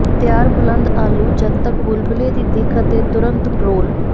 ਤਿਆਰ ਬੁਲੰਦ ਆਲੂ ਜਦ ਤੱਕ ਬੁਲਬਲੇ ਦੀ ਦਿੱਖ ਅਤੇ ਤੁਰੰਤ ਰੋਲ